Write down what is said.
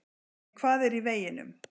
En hvað er í veginum?